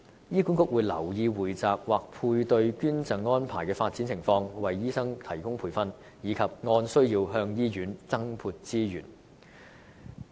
醫管局會留意匯集或配對捐贈安排的發展情況、為醫生提供培訓，以及按需要向醫院增撥資源。